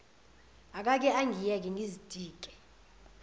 akake angiyeke ngizitike